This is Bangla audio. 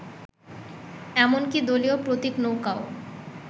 এমনকি দলীয় প্রতীক নৌকাও